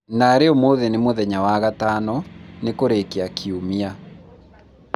narĩ ũmũthĩ nĩ mũthenya wa gatano, ni kũrĩkia kiumia